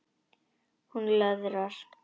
Hún löðrar.